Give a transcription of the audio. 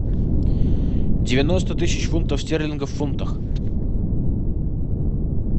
девяносто тысяч фунтов стерлингов в фунтах